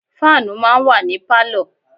Fáànù máa ń wà ní Pálọ̀.